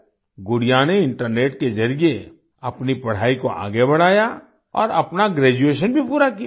गुड़िया ने इंटरनेट के जरिए अपनी पढ़ाई को आगे बढ़ाया और अपना ग्रेजुएशन भी पूरा किया